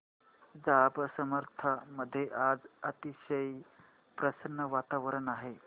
जांब समर्थ मध्ये आज अतिशय प्रसन्न वातावरण आहे